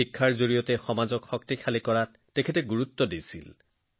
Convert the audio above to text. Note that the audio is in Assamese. শিক্ষাৰ জৰিয়তেহে সমাজৰ সবলীকৰণ সম্ভৱ এয়া আছিল তেওঁৰ দৃঢ় বিশ্বাস